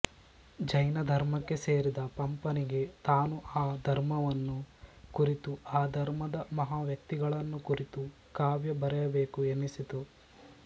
ಜೈನ ಧರ್ಮಕ್ಕೆ ಸೇರಿದ ಪಂಪನಿಗೆ ತಾನು ಆ ಧರ್ಮವನ್ನು ಕುರಿತು ಆ ಧರ್ಮದ ಮಹಾವ್ಯಕ್ತಿಗಳನ್ನು ಕುರಿತು ಕಾವ್ಯ ಬರೆಯಬೇಕು ಎನ್ನಿಸಿತು